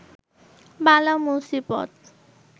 বালা মুসিবত